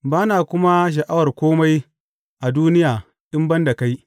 Ba na kuma sha’awar kome a duniya in ban da kai.